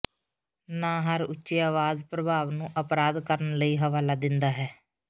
ਨਾ ਹਰ ਉੱਚੀ ਆਵਾਜ਼ ਪ੍ਰਭਾਵ ਨੂੰ ਅਪਰਾਧ ਕਰਨ ਲਈ ਹਵਾਲਾ ਦਿੰਦਾ ਹੈ